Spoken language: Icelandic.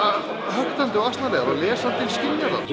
höktandi og asnalegar og lesandinn skynjar það